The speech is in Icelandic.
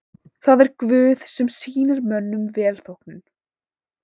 Það er Guð sem sýnir mönnum velþóknun.